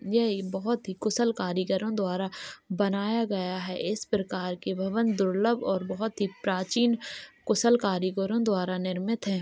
यह ही बहोत ही कुशल कारीगरो द्वारा बनाया गया है इस प्रकार के भवन दुर्लभ और बहुत ही प्राचीन कुशल कारीगरों द्वारा निर्मित है।